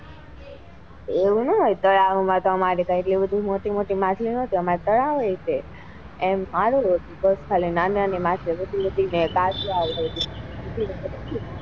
એવું નાં હોય તો તળાવ માં તો અમારે તો કઈ એટલી મોટી મોટી માછાલો નાતી બસ ખાલી નાની નાની માછલીઓ ને કાચબાઓ જ,